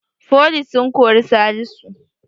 Foli sun kori salisu